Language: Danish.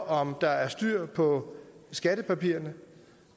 om der er styr på skattepapirerne